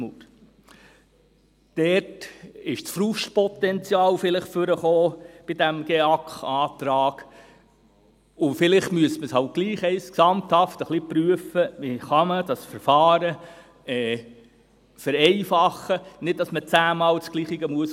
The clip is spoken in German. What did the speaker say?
Dort trat das Frustpotenzial vielleicht zutage, bei diesem GEAK-Antrag, und vielleicht müsste man halt trotzdem gesamthaft ein wenig prüfen, wie man das Verfahren vereinfachen kann, damit man nicht 10-mal dasselbe ausfüllen muss.